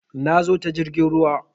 Na zo ta jirgin ruwa